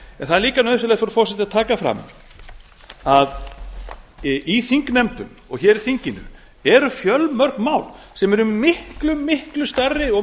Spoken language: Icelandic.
það er líka nauðsynlegt frú forseti að taka fram að í þingnefndum og í þinginu eru fjölmörg mál sem eru miklu miklu stærri og